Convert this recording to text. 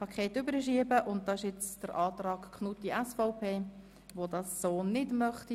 Der vorliegende Antrag Knutti möchte dies bei Traktandum 30 aber nicht so handhaben.